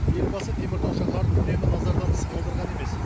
елбасы теміртау шаһарын үнемі назардан тыс қалдырған емес